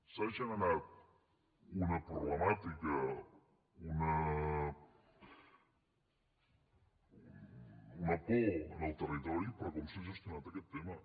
s’ha generat una problemàtica una por en el territori per com s’ha gestionat aquest tema